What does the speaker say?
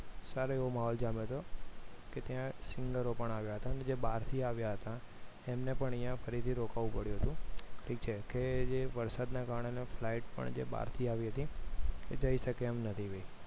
સારો એવો માહોલ જામ્યો હતો કે ત્યાં singer પણ આવ્યા હતા જે બહારથી આવ્યા હતા એમને પણ અહીંયા ફરીથી રોકાવું પડ્યું હતું કે જે વરસાદના કારણે flight પણ જે બહારથી આવી તી જઈ શકે એમ નથી